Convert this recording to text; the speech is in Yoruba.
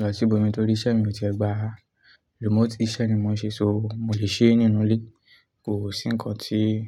lọ sí ibòmíì torí iṣẹ́ mi ò tíẹ́ gbà á. Remote iṣẹ́ ni mò ń ṣe, ṣó mo lè ṣe é nínú ilé, kò sí nǹkan tí.